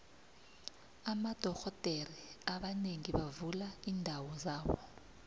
amadoxhodere abanengi bavula iindawo zabo